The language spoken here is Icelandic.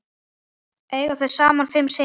Eiga þau saman fimm syni.